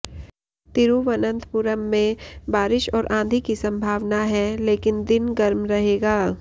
तिरुवनंतपुरम में बारिश और आंधी की संभावना है लेकिन दिन गर्म रहेगा